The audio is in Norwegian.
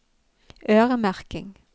øremerking